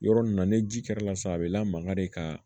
Yɔrɔ nin na ni ji kɛr'a la sa a bɛ lamangare ka